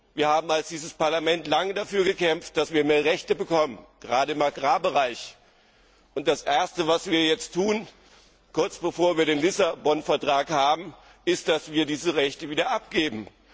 Wir haben als Parlament lange dafür gekämpft, dass wir mehr Rechte bekommen gerade im Agrarbereich! Das Erste, was wir jetzt tun, kurz bevor wir den Lissabon Vertrag haben, ist, dass wir diese Rechte wieder abgeben.